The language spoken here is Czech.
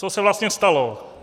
Co se vlastně stalo?